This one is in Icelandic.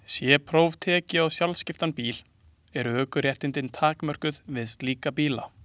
Sé próf tekið á sjálfskiptan bíl eru ökuréttindin takmörkuð við slíka bíla.